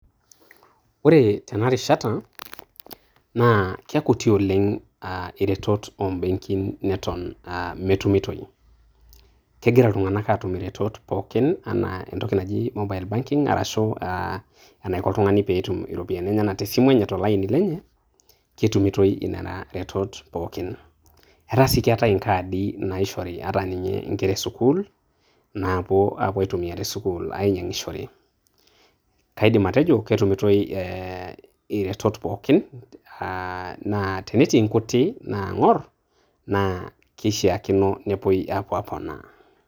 Ore tenaa rishaata na kekuti oleng aah eretoto obenkin netuun meinutoi. Kejiraa ill'tunang'anak atum eretoto pookin ana ntokii ejii mobile banking arashu aah enaiko ntung'ani pee etum ropiani te simu enye too laini lenye. Ketumutoi eneyaa retoto pookin. Etaa sii keetai nkaadi naishori ata ninye nkerra esukul naapoo apo aitumia te sukul ang'ashore. Kaidim atojo ketumutoi eretoto pookin aah tenetii nkutii naang'or naa keshakinoi neepoi apo aponaa.